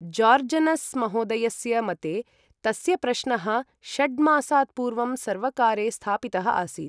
जॉर्जनस् महोदयस्य मते तस्य प्रश्नः षड्मासात् पूर्वं सर्वकारे स्थापितः आसीत्।